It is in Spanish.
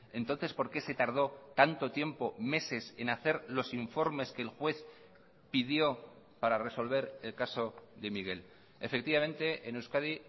entonces por qué se tardó tanto tiempo meses en hacer los informes que el juez pidió para resolver el caso de miguel efectivamente en euskadi